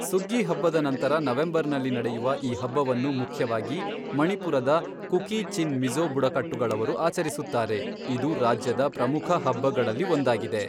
ಸುಗ್ಗಿ ಹಬ್ಬದ ನಂತರ ನವೆಂಬರ್ನಲ್ಲಿ ನಡೆಯುವ ಈ ಹಬ್ಬವನ್ನು ಮುಖ್ಯವಾಗಿ ಮಣಿಪುರದ ಕುಕೀ ಚಿನ್ ಮಿಜ಼ೋ ಬುಡಕಟ್ಟುಗಳವರು ಆಚರಿಸುತ್ತಾರೆ, ಇದು ರಾಜ್ಯದ ಪ್ರಮುಖ ಹಬ್ಬಗಳಲ್ಲಿ ಒಂದಾಗಿದೆ.